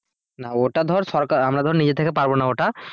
না ওটা ধর সরকার আমরা ধর নিজের থেকে পারবো না ওটা।